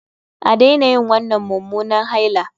A daina yin wannan mummunan haila